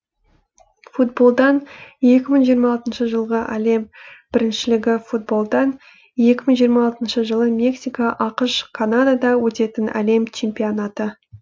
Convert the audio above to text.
футболдан екі мың жиырма алтыншы жылғы әлем біріншілігі футболдан екі мың жиырма алтыншы жылы мексика ақш канадада өтетін әлем чемпионаты